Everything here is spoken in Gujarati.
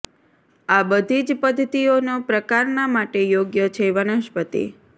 આ બધી જ પદ્ધતિઓનો પ્રકારના માટે યોગ્ય છે વનસ્પતિ